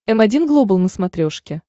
м один глобал на смотрешке